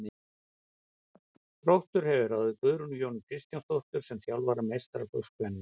Þróttur hefur ráðið Guðrúnu Jónu Kristjánsdóttur sem þjálfara meistaraflokks kvenna.